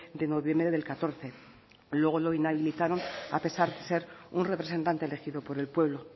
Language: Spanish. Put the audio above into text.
de noviembre del catorce luego lo inhabilitaron a pesar de ser un representante elegido por el pueblo